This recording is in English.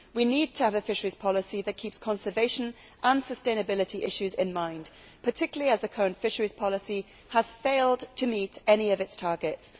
We need to have a fisheries policy which keeps conservation and sustainability issues in mind, particularly as the current fisheries policy has failed to meet any of its targets.